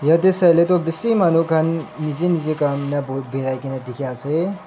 yatae sai lae toh manu bishi khan nijer nijer kam ena birai kaena dikhiase.